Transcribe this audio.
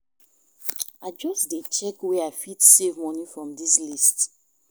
I just dey check where I fit save moni from dis list.